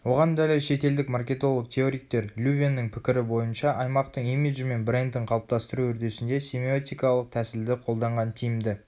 оған дәлел шетелдік маркетолог-теоретиктер лювеннің пікірі бойынша аймақтың имиджі мен брендін қалыптастыру үрдісінде семиотикалық тәсілді қолданған тиімді